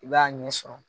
I b'a ɲɛ sɔrɔ